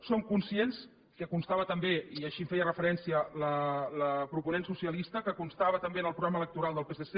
som conscients que constava també i així hi feia referència la proponent socialista en el programa electoral del psc